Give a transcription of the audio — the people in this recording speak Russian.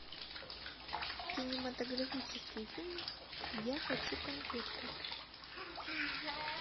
кинематографический фильм я хочу конфетку